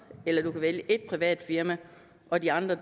eller du kan vælge et privat firma og de andre